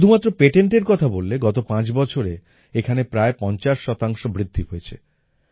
শুধুমাত্র পেটেণ্টের কথা বললে গত পাঁচ বছরে এখানে প্রায় পঞ্চাশ শতাংশ বৃদ্ধি হয়েছে